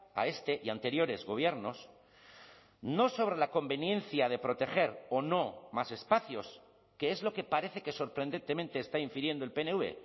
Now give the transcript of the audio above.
a este y anteriores gobiernos no sobre la conveniencia de proteger o no más espacios que es lo que parece que sorprendentemente está infiriendo el pnv